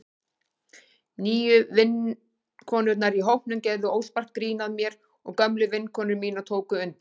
Nýju vinkonurnar í hópnum gerðu óspart grín að mér og gömlu vinkonur mínar tóku undir.